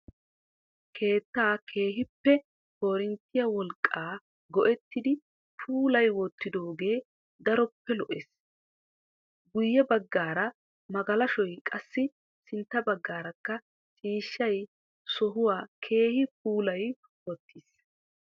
Keettaa keehippe korinttiyaa wolqqaa go"ettidi puulayi wottidoogee daroppe lo"ees. Guyye baggaara magalashoy qassi sintta baggarakka ciishshay sohuwaa keehi puulayi wottiis.